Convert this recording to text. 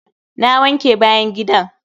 Na wanke bayan gidan.